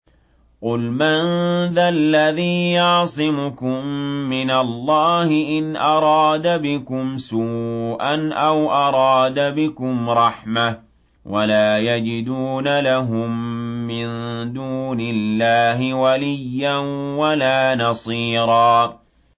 قُلْ مَن ذَا الَّذِي يَعْصِمُكُم مِّنَ اللَّهِ إِنْ أَرَادَ بِكُمْ سُوءًا أَوْ أَرَادَ بِكُمْ رَحْمَةً ۚ وَلَا يَجِدُونَ لَهُم مِّن دُونِ اللَّهِ وَلِيًّا وَلَا نَصِيرًا